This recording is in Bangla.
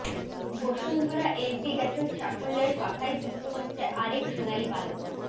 বসুন্ধরা এলপি গ্যাসের সাফল্যের পাখায় যুক্ত হচ্ছে আরেক সোনালী পালক